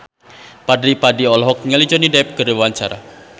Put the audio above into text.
Fadly Padi olohok ningali Johnny Depp keur diwawancara